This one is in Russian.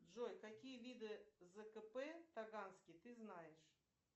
джой какие виды зкп таганский ты знаешь